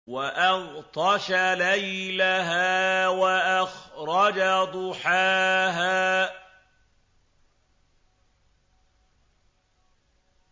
وَأَغْطَشَ لَيْلَهَا وَأَخْرَجَ ضُحَاهَا